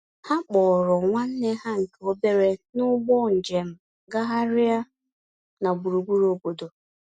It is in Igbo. Ha kpọọrọ nwanne ha nke obere n'ụgbọ njem gagharịa na burugburu obodo.